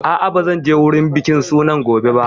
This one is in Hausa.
A'a, ba zan je wurin bikin sunan gobe ba